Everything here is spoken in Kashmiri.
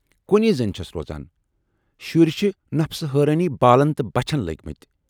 کُنۍ زٔنۍ چھَس روزان، شُرۍ چھِ نفسہٕ حٲرانی بالن تہٕ بچھن لٔگۍمٕتۍ